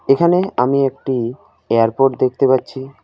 এখানে আমি একটি এয়ারপোর্ট দেখতে পাচ্ছি।